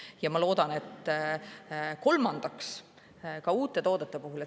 Ja ma loodan, et, kolmandaks, ka uute toodete puhul.